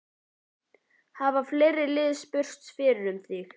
Hafa fleiri lið spurst fyrir um þig?